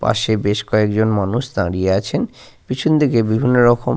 পাশে বেশ কয়েকজন মানুষ দাঁড়িয়ে আছেন। পিছনদিকে বিভিন্ন রকম --